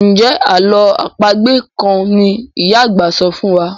Njé àlọ́ àpagbè kán ní ìyá àgbà sọfún wá?